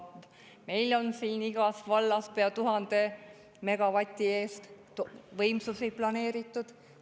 Meil on siin igast vallast pea 1000 megavati eest võimsusi ei planeeritud.